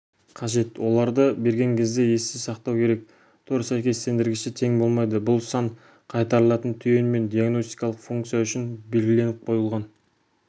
қажет оларды берген кезде есте сақтау керек тор сәйкестендіргіші тең болмайды бұл сан қайтарылатын түйін мен диагностикалық функция үшін белгіленіп қойылған